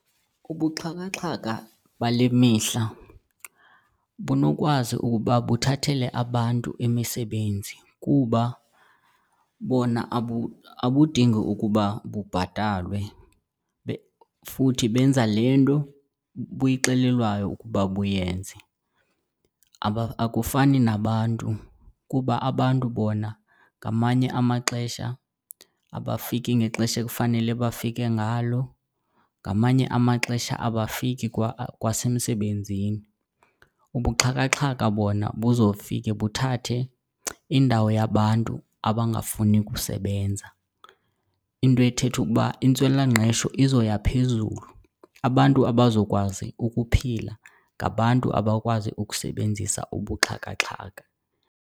Ubuxhakaxhaka bale mihla bunokwazi ukuba buthathele abantu imisebenzi kuba bona abudingi ukuba bubhatalwe futhi benza le nto buyixelelwayo ukuba buyenze. Akufani nabantu kuba abantu bona ngamanye amaxesha abafiki ngexesha ekufanele bafike ngalo, ngamanye amaxesha abafiki kwa kwasemsebenzini. Ubuxhakaxhaka bona buzofike buthathe indawo yabantu abangafuni kusebenza. Into ethetha ukuba intswelangqesho izoya phezulu, abantu abazokwazi ukuphila ngabantu abakwazi ukusebenzisa ubuxhakaxhaka.